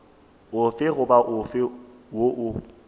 ofe goba ofe wo o